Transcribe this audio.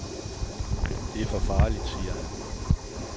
Det er for farligt, siger han.